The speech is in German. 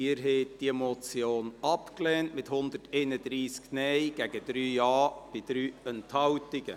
Sie haben die Motion abgelehnt, mit 131 Nein- gegen 3 Ja-Stimmen bei 3 Enthaltungen.